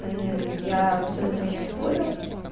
я абсолютно не спорю